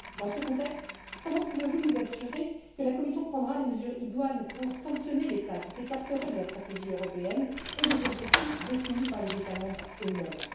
Dans ce contexte, comment pouvez vous nous assurer que la Commission prendra les mesures idoines pour sanctionner l'État qui s'écarterait de la stratégie européenne et des objectifs définis par les États membres eux mêmes?